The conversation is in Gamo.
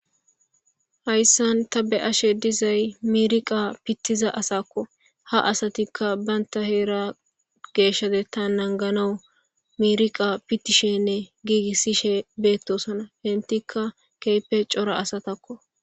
Hayisan ta beashe dizay miriqa pitiza asakko ha asatika banta hera geshateta naniganawu miriqa fitishene figisishe betosona entika kehippe cora asatakko.